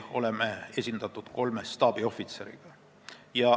Oleme esindatud ka kolme staabiohvitseriga.